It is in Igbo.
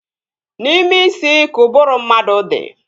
N'ime isi ka ụbụrụ mmadụ dị